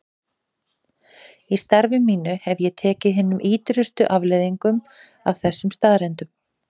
Í starfi mínu hef ég tekið hinum ýtrustu afleiðingum af þessum staðreyndum.